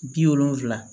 Bi wolonfila